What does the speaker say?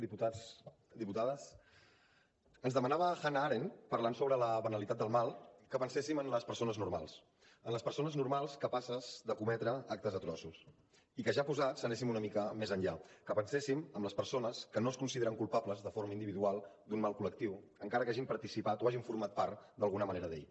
diputats diputades ens demanava hannah arendt parlant sobre la banalitat del mal que penséssim en les persones normals en les persones normals capaces de cometre actes atroços i que ja posats anéssim una mica més enllà que penséssim en les persones que no es consideren culpables de forma individual d’un mal col·lectiu encara que hagin participat o hagin format part d’alguna manera d’ell